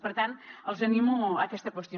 per tant els animo a aquesta qüestió